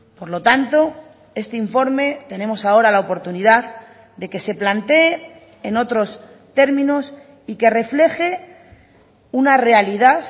por lo tanto este informe tenemos ahora la oportunidad de que se plantee en otros términos y que refleje una realidad